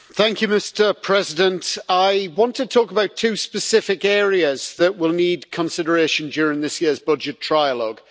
Mr President, I want to talk about two specific areas that will need consideration during this year's budget trilogue.